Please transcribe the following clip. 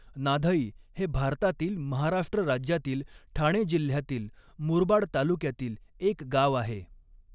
नाधई हे भारतातील महाराष्ट्र राज्यातील ठाणे जिल्ह्यातील मुरबाड तालुक्यातील एक गाव आहे.